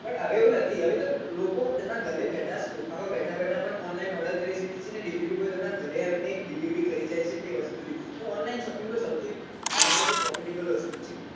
but હવે એવું નથી હવે જો લોકો તેના ઘરે બેઠા બેઠા પણ online order કરી શકે છે ને delivery boy તેમના ઘરે આવીને delivery કરી જાય છે online shopping સૌથી મહત્વ profitable ની વસ્તુ હોય છે